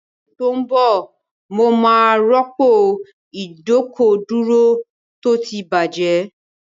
Ní oṣù tó ń bọ̀, mo máa rọ́pò ìdọ́kọ̀dúró tó ti bàjẹ́